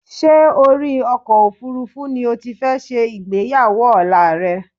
Ṣé orí ọkọ̀ òfuurufú ni o ti fẹ́ ṣe ìgbéyàwó ọ̀la rẹ?